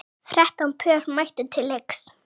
Þrettán pör mættu til leiks.